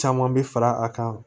Caman bɛ fara a kan